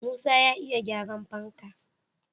Musa ya iya gyaran fanka